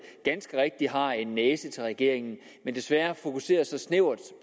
ganske rigtigt har en næse til regeringen men desværre fokuseres der snævert